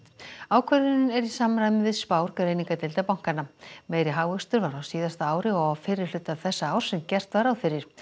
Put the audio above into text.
ákvörðunin er í samræmi við spár greiningardeilda bankanna meiri hagvöxtur var á síðasta ári og á fyrri hluta þessa árs en gert var ráð fyrir